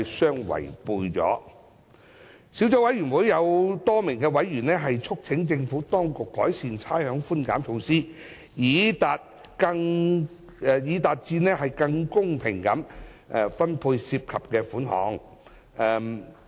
小組委員會多名委員促請政府當局改善差餉寬減措施，以期達致更公平地分配涉及的款項。